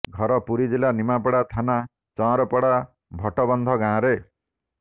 ଘର ପୁରୀ ଜିଲ୍ଲା ନିମାପଡ଼ା ଥାନା ଚଅଁରପଡ଼ା ଭଟବନ୍ଧ ଗାଁରେ